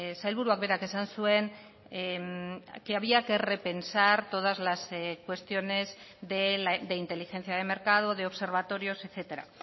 sailburuak berak esan zuen que había que repensar todas las cuestiones de inteligencia de mercado de observatorios etcétera